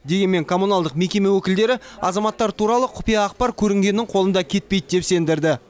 дегенмен коммуналдық мекеме өкілдері азаматтар туралы құпия ақпар көрінгеннің қолында кетпейді деп сендірді